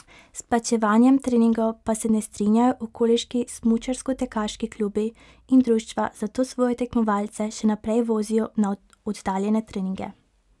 S plačevanjem treningov pa se ne strinjajo okoliški smučarskotekaški klubi in društva, zato svoje tekmovalce še naprej vozijo na oddaljene treninge.